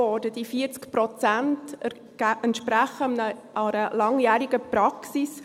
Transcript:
Diese 40 Prozent entsprechen einer langjährigen Praxis.